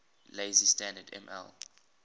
lazy standard ml